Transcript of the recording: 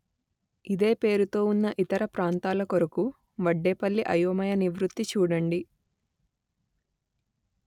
ఇదే పేరుతో ఉన్న ఇతర ప్రాంతాల కొరకు వడ్డేపల్లి అయోమయ నివృత్తి చూడండి